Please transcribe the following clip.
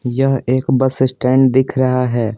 यह एक bus stand दिख रहा है।